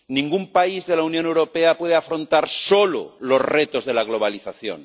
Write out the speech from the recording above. Ningún país de la Unión Europea puede afrontar solo los retos de la globalización.